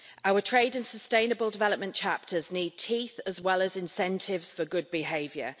Our trade and sustainable development chapters need teeth as well as incentives for good behaviour.